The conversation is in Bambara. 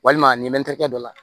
Walima nin mɛtiri kɛ dɔ la